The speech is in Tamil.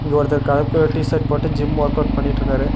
இங்க ஒருத்தர் கலர் கலர் டி_ஷர்ட் போட்டு ஜிம் ஒர்க்அவுட் பண்ணிட்டுருக்காரு.